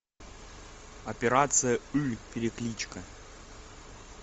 операция ы перекличка